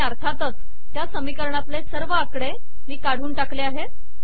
आणि अर्थातच त्या समीकरणातले सर्व आकडे मी काढून टाकले आहेत